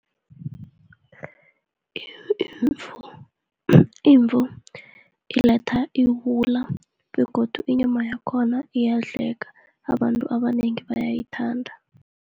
imvu iletha iwula begodu inyama yakhona iyadleka, abantu abanengi bayayithanda.